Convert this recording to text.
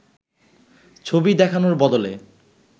ছবি দেখানোর বদলে